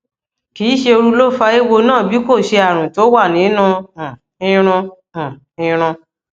kì í ṣe ooru ló fa eéwo náà bí kò ṣe àrùn tó wà nínú um irun um irun